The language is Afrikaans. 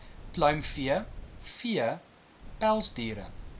pluimvee vee pelsdiere